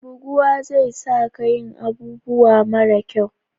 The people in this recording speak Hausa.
Buguwa zai sa ka yin abubuwa mara kyau